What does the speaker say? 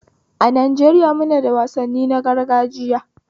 A Najaeriya munada wasanni na gargajiya